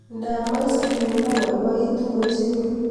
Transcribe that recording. Ngaam Ice cream abaibaitu ochei